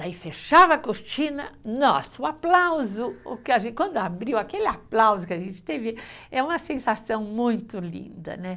Daí fechava a cortina, nossa, o aplauso, quando abriu aquele aplauso que a gente teve, é uma sensação muito linda, né?